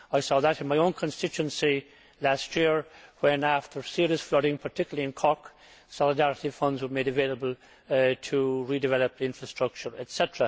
I saw that in my own constituency last year when, after serious flooding, particularly in Cork, solidarity funds were made available to redevelop infrastructure, etc.